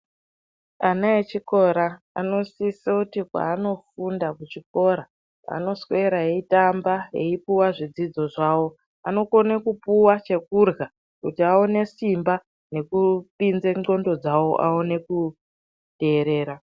Ana echikora anosisoti kwaanofunda kuchikora anoswera eyitamba eyipuwa zvidzidzo zvavo anokone kupuwa chekurya kuti awone simba nekupinza ndxondo dzavo aone kuteerera.